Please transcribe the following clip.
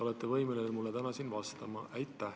Olete võimeline mulle täna siin vastama?